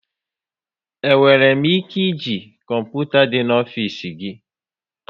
E nwere m ike e ji kọmputa dị n'ofisi gị?